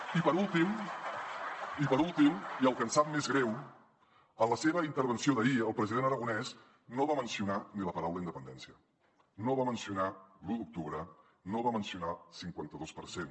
i per últim i per últim i el que ens sap més greu en la seva intervenció d’ahir el president aragonès no va mencionar ni la paraula independència no va mencionar l’u d’octubre no va mencionar el cinquanta dos per cent